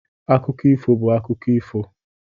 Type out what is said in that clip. akụkọ ifo bụ akụkọ ifo.